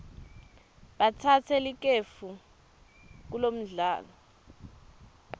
batsatse likefu kulomdlalo